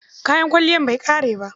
Kayan kwalliyar bai ƙare ba.